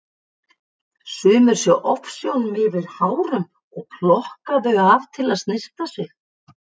Sumir sjá ofsjónum yfir hárunum og plokka þau af til að snyrta sig.